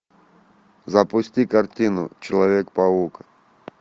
запусти картину человек паук